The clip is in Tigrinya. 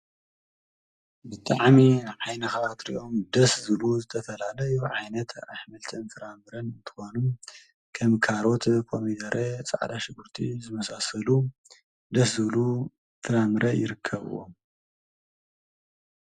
ብተዓሜ ኃይነኻባት ሪእኦም ደስ ዝሉ ዝተፈላለ ይ ዓይነት ኣኅምልቲ እም ፍራምርን እትኾኑ ከም ካሮት ኾሚገሬ ፃዕዳሽ ጕርቲ ዘመሳሰሉ ደስ ዘሉ ፍራምረ ይርከብዎም።